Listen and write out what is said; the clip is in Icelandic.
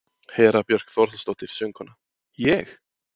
Hera Björk Þórhallsdóttir, söngkona: Ég?